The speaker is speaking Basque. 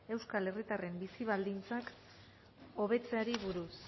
euskal herritarren bizi baldintzak hobetzeari buruz